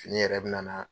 Fini yɛrɛ bɛ na